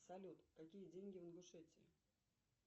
салют какие деньги в ингушетии